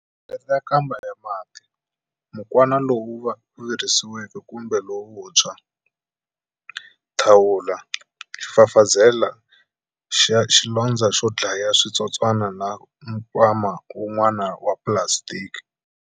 Hlengeleta nkamba ya mati, mukwana lowu virisiweke kumbe lowuntshwa, thawula, xifafazela xa xilondzo xo dlaya switsotswana na nkwama wun'wana wa pulasitiki.